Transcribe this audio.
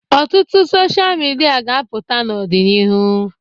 Ọtụtụ dochịa midia ga-apụta n'ọdịnihu.